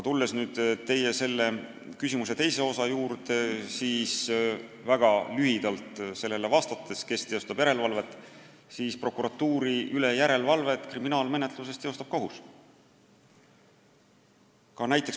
Tulles teie küsimuse teise osa juurde, siis kui väga lühidalt vastata, kes teostab järelevalvet, siis kriminaalmenetluse korral teostab prokuratuuri üle järelevalvet kohus.